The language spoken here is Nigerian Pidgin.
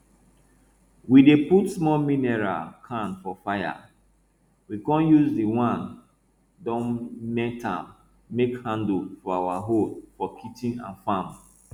we dey put small mineral can for fire we con use the wey don melt am make handle for our hoes for kitchen and farm